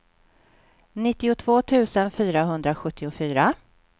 nittiotvå tusen fyrahundrasjuttiofyra